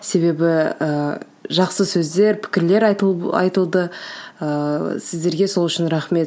себебі ыыы жақсы сөздер пікірлер айтылып айтылды ыыы сіздерге сол үшін рахмет